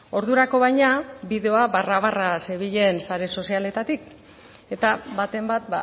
ordurako baina bideoa barra barra zebilen sare sozialetatik eta baten bat